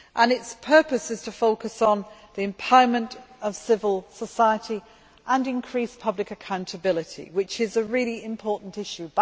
Its purpose is to focus on the empowerment of civil society and increase public accountability, which is a really important issue.